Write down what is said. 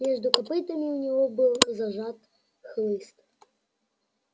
между копытами у него был зажат хлыст